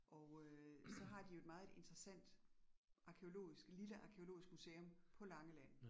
Og øh så har de jo et meget interessant arkæologisk, lille arkæologisk museum på Langeland